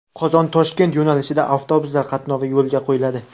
Qozon Toshkent yo‘nalishida avtobuslar qatnovi yo‘lga qo‘yiladi.